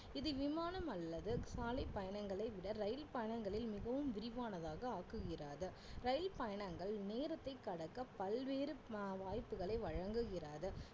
இது விமானம் அல்லது சாலை பயணங்களை விட ரயில் பயணங்களில் மிகவும் விரிவானதாக ஆக்குகிறது ரயில் பயணங்கள் நேரத்தை கடக்க பல்வேறு ம~ வாய்ப்புகளை வழங்குகிறது